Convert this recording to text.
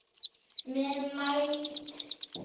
Vel mælt.